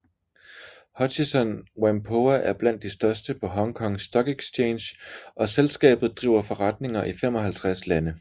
Hutchison Whampoa er blandt de største på Hong Kong Stock Exchange og selskabet driver forretninger i 55 lande